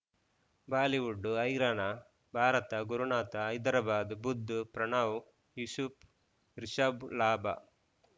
Bollywood ಹೈರಾಣ ಭಾರತ ಗುರುನಾಥ ಹೈದರಾಬಾದ್ ಬುಧ್ ಪ್ರಣವ್ ಯೂಸುಫ್ ರಿಷಬ್ ಲಾಭ